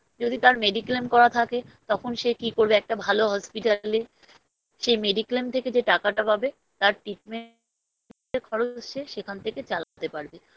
যদি তার Mediclaim করা থাকে তখন সে কি করবে একটা ভালো Hospital এ সে Mediclaim থেকে যে টাকাটা পাবে তার Treatment এর খরচ সে সেখান থেকে চালাতে পারবে